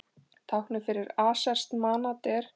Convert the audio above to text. Táknið fyrir aserskt manat er.